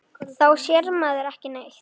Þá sér maður ekki neitt.